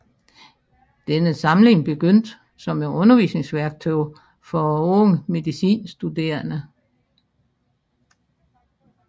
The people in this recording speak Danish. Denne samling begyndte som et undervisningsværktøj for unge medicinstuderende